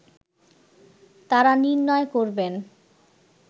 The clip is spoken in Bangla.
তারা নির্ণয় করবেন